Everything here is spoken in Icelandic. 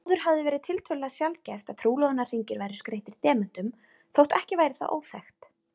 Áður hafði verið tiltölulega sjaldgæft að trúlofunarhringir væru skreyttir demöntum, þótt ekki væri það óþekkt.